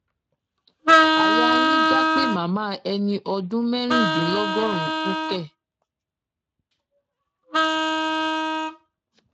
àyà yín já pé màmá ẹni ọdún mẹrìndínlọgọrùnún kù kẹ